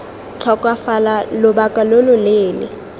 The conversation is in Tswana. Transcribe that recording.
tlhokafala lobaka lo lo leele